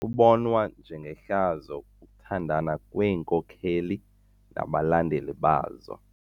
Kubonwa njengehlazo ukuthandana kweenkokeli nabalandeli bazo.